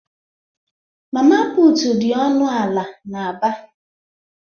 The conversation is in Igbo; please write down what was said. Mama putụ̀ dị ọnụ ala n'Aba.